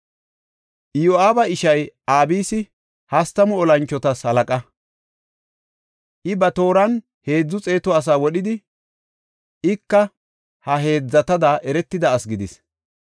Iyo7aaba ishay Abisi hastamu olanchotas halaqa. I ba tooran heedzu xeetu asaa wodhidi, ika ha heedzatada eretida asi gidis.